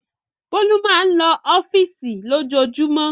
Bólú máa ń lọ ọ́fíísì lójoojúmọ́.